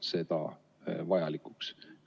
Miks te ei pea seda vajalikuks?